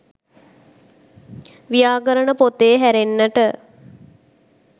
ව්‍යාකරණ පොතේ හැරෙන්නට